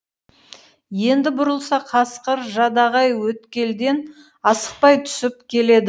енді бұрылса қасқыр жадағай өткелден асықпай түсіп келеді